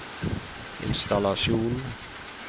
innstallasjon